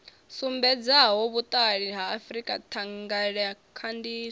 sumbedzaho vhuṱali ha frika thangelakhandiso